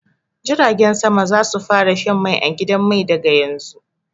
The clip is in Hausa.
Jiragen sama za su fara shan mai a gidan mai daga yanzu.